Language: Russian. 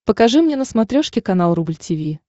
покажи мне на смотрешке канал рубль ти ви